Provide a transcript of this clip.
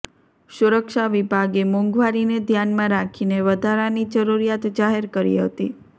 સુરક્ષા વિભાગે મોંઘવારીને ધ્યાનમાં રાખીને વધારાની જરૂરિયાત જાહેર કરી હતી